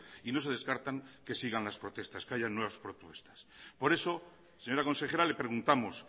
y no se descartan que sigan las protestas que haya nuevas protestas por eso señora consejera le preguntamos